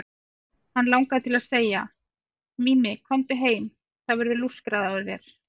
Hann langaði til að segja: Mimi, komdu heim, það verður lúskrað á þér.